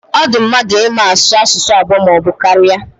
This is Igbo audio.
Ọ di mmadụ ịma asụ asụsụ abụọ maọbụ karịa.